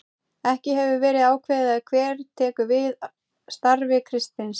Ekki hefur verið ákveðið hver tekur við starfi Kristins.